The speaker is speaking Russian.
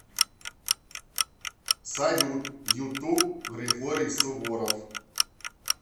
салют ютуб григорий суворов